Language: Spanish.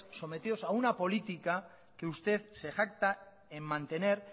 sometidos a una política que usted se jacta en mantener